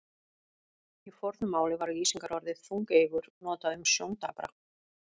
Í fornu máli var lýsingarorðið þungeygur notað um sjóndapra.